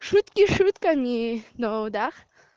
шутки шутками но да